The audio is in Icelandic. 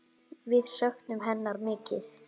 Við söknum hennar mikið.